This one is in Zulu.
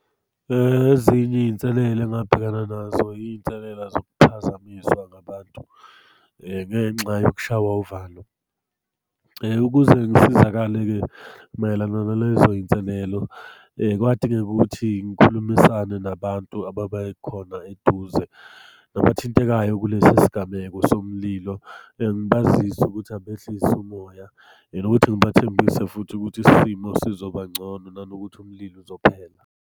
Ezinye iy'nselela engabhekana nazo iy'nselela zokuphazamiswa ngabantu ngenxa yokushaywa uvalo. Ukuze ngisizakale-ke mayelana nalezo iy'nselelo kwadingeka ukuthi ngikhulumisane, nabantu ababe khona eduze, nabathintekayo kulesi sigameko somlilo. Ngibazise ukuthi abehlise umoya and ukuthi ngibathembise futhi ukuthi isimo sizoba ngcono, nanokuthi umlilo uzophela.